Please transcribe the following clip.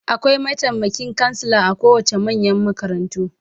Akwai mataimakin kansila a kowace manyan makarantu